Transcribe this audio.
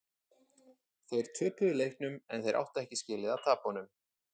Þeir töpuðu leiknum en þeir áttu ekki skilið að tapa honum.